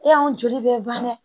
E y'an joli bɛ ban dɛ